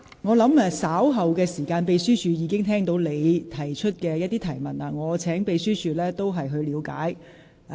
我相信秘書處人員已聽到你提出的疑問，我會請秘書處稍後時間了解一下。